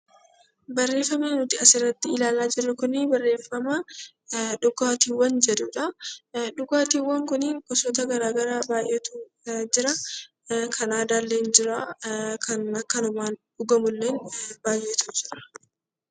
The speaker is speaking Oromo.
Barreeffama asirratti nuti ilaalaa jirru Kun, barreeffama dhugaatiiwwan jedhudha. Dhugaatiiwwan kunniin gosoota garaagaraa baayyeetu jiraa . Kan aadaa illee jiraa, kan akkanumaan dhugamu illee baayyeetu jira.